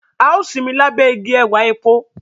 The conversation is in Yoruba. A o sinmi labẹ awọn ìgi ẹwà èpo.